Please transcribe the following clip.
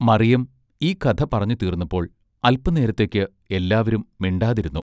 മറിയം ഈ കഥ പറഞ്ഞു തീർന്നപ്പോൾ അൽപനേരത്തേക്ക് എല്ലാവരും മിണ്ടാതിരുന്നു